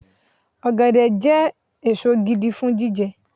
Ọ̀gẹ̀dẹ̀ jẹ́ èso gidi fún jíjẹ